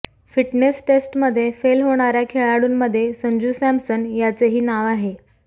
fitness टेस्टमध्ये fail होणाऱ्या खेळाडूंमध्ये संजू सॅमसन याचेही नाव आहे